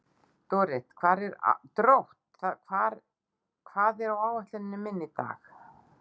Drótt, hvað er á áætluninni minni í dag?